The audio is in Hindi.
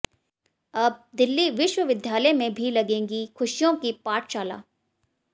अब दिल्ली विश्वविद्यालय में भी लगेगी खुशियों की पाठशाला